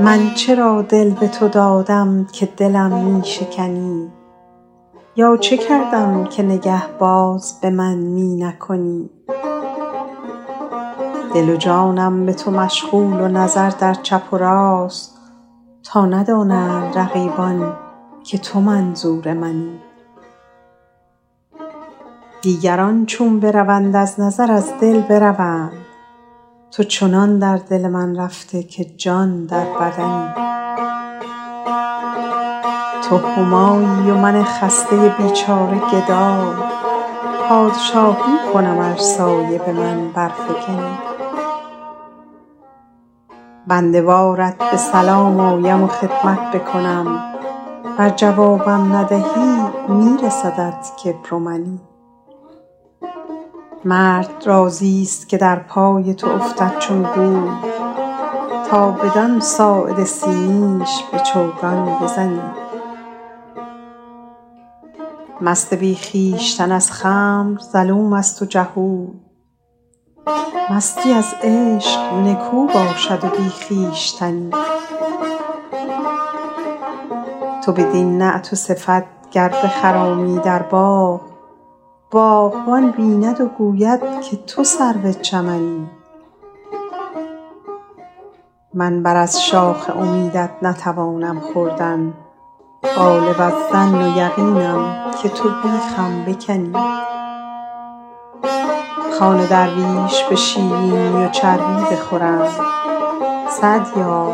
من چرا دل به تو دادم که دلم می شکنی یا چه کردم که نگه باز به من می نکنی دل و جانم به تو مشغول و نظر در چپ و راست تا ندانند حریفان که تو منظور منی دیگران چون بروند از نظر از دل بروند تو چنان در دل من رفته که جان در بدنی تو همایی و من خسته بیچاره گدای پادشاهی کنم ار سایه به من برفکنی بنده وارت به سلام آیم و خدمت بکنم ور جوابم ندهی می رسدت کبر و منی مرد راضیست که در پای تو افتد چون گوی تا بدان ساعد سیمینش به چوگان بزنی مست بی خویشتن از خمر ظلوم است و جهول مستی از عشق نکو باشد و بی خویشتنی تو بدین نعت و صفت گر بخرامی در باغ باغبان بیند و گوید که تو سرو چمنی من بر از شاخ امیدت نتوانم خوردن غالب الظن و یقینم که تو بیخم بکنی خوان درویش به شیرینی و چربی بخورند سعدیا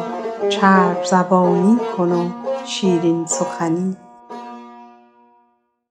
چرب زبانی کن و شیرین سخنی